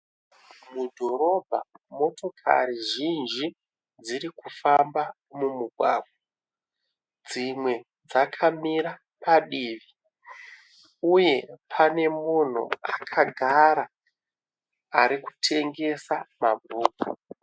Mudhorobha, motokari zhinji dzirikufamba mumugwagwa. Dzimwe dzakamira padivi. Uye pane munhu akagara, arikutengesa mabhuku.